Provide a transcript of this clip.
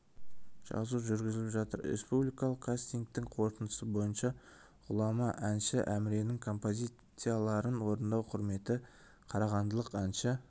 жазу жүргізіліп жатыр республикалық кастингтің қорытындысы бойынша ғұлама әнші әміренің композицияларын орындау құрметі қарағандылық әнші